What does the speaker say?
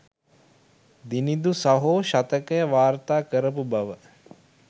දිනිඳු සහෝ ශතකය වර්තා කරපු බව